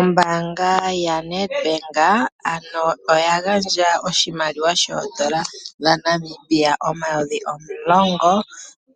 Ombaanga yaNedbank ano oya gandja oshimaliwa oodola dhaNamibia omayovi omulongo